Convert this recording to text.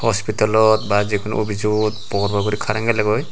hospitalot ba jiguno opisot bor bor guri karen gelegoi.